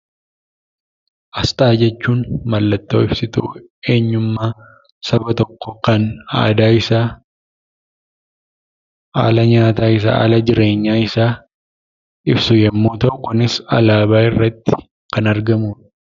Asxaa jechuun mallattoo ibsituu eenyummaa saba tokkoo kan aadaa isaa, haala nyaataa isaa, haala jireenyaa isaa ibsu yommuu ta'u kunis alaabaa irratti kan argamudha.